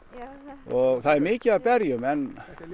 og það er mikið af berjum en